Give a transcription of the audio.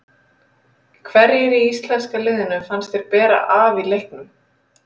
Hverjir í íslenska liðinu fannst þér bera af í leiknum?